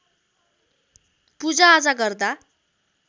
पूजाआजा गर्दा